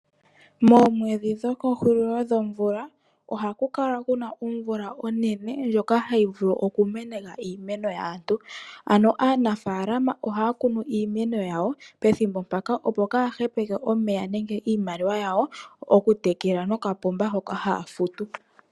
Moomwedhi dho kehulilo lyomvula ohaku kala kuna omvula onene ndjoka hayi vulu okumeneka iimeno yaantu, ano aanafaalama ohaya kunu iimeno yawo pethimbo mpaka opo kaya hepeke omeya nenge iimaliwa yawo okutekela nokapomba hoka haya futu.